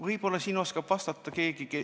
Võib-olla oskab vastata keegi ...